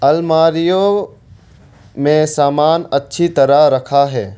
अलमारीओ में समान अच्छी तरह रखा है।